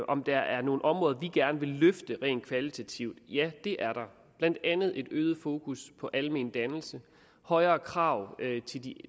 om der er nogle områder vi gerne vil løfte rent kvalitativt det er der blandt andet ønsker vi et øget fokus på almen dannelse højere krav